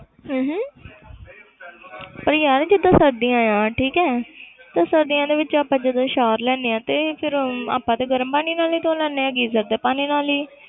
ਹਮ ਹਮ ਪਰ ਯਾਰ ਜਿੱਦਾਂ ਸਰਦੀਆਂ ਆਂ ਠੀਕ ਹੈ ਤੇ ਸਰਦੀਆਂ ਦੇ ਵਿੱਚ ਆਪਾਂ ਜਦੋਂ shower ਲੈਂਦੇ ਹਾਂ ਤੇ ਫਿਰ ਆਪਾਂ ਤੇ ਗਰਮ ਪਾਣੀ ਨਾਲ ਹੀ ਧੋ ਲੈਂਦੇ ਹੈਗੇ ਹਾਂ geyser ਦੇ ਪਾਣੀ ਨਾਲ ਹੀ